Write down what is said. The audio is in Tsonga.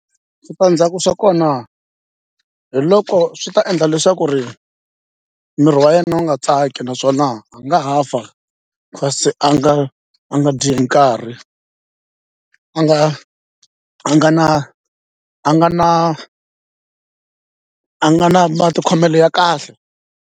Switandzhaku swa kona hi loko swi ta endla leswaku ri miri wa yena wu nga tsaki naswona u nga ha fa kasi a nga a nga dyi hi nkarhi a nga na a nga na a nga na a nga na matikhomelo ya kahle.